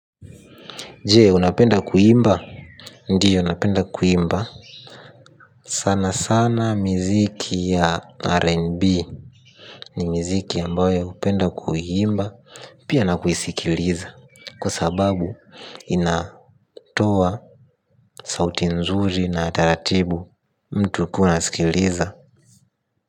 Jee unapenda kuimba? Ndiyo napenda kuimba sana sana miziki ya RNB. Ni miziki ambayo upenda kuimba. Pia na kuisikiliza. Kwa sababu inatoa sauti nzuri na taratibu mtu ukiwa unasikiliza.